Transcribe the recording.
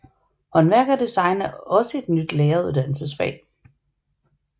Håndværk og design er også et nyt læreruddannelsesfag